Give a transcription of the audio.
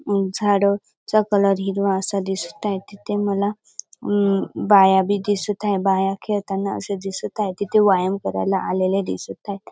झाड चा कलर हिरवा असा दिसताएत तिथे मला म् बाया बी दिसत हायबाया खेळताना अशा दिसत हाय तिथ व्यायाम करायला आलेले दिसत हायत.